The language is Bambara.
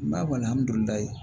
N b'a